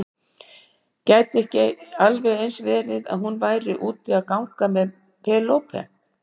Gæti ekki alveg eins verið að hún væri úti að ganga með Penélope?